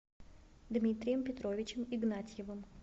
дмитрием петровичем игнатьевым